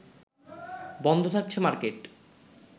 বন্ধ থাকছে মার্কেট